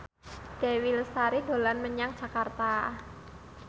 Dewi Lestari dolan menyang Jakarta